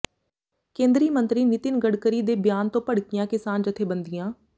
ਕੇਂਦਰੀ ਮੰਤਰੀ ਨਿਤਿਨ ਗਡਕਰੀ ਦੇ ਬਿਆਨ ਤੋਂ ਭੜਕੀਆਂ ਕਿਸਾਨ ਜਥੇਬੰਦੀਆਂ